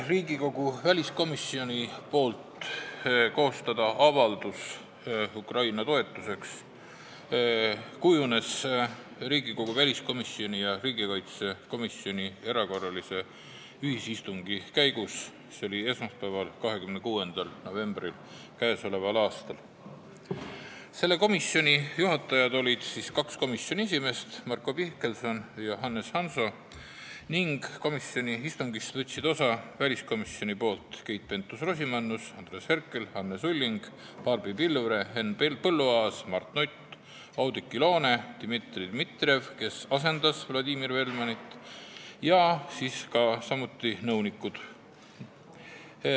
Riigikogu väliskomisjoni mõte koostada avaldus Ukraina toetuseks kujunes Riigikogu väliskomisjoni ja riigikaitsekomisjoni erakorralise ühisistungi käigus esmaspäeval, 26. novembril k.a. Seda istungit juhatas kaks komisjoni esimeest, Marko Mihkelson ja Hannes Hanso, ning komisjoni istungist võtsid osa väliskomisjonist Keit-Pentus Rosimannus, Andres Herkel, Anne Sulling, Barbi Pilvre, Henn Põlluaas, Mart Nutt, Oudekki Loone, Dmitri Dmitrijev, kes asendas Vladimir Velmanit, ja samuti nõunikud.